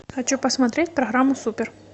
хочу посмотреть программу супер